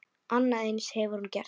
Annað eins hefur hún gert.